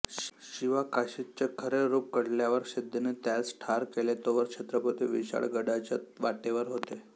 शिवा काशीद चे खरे रूप कळल्यावर सिध्दीने त्यांस ठार केलेतोवर छत्रपती विशाळगडाच्या वाटेवर होते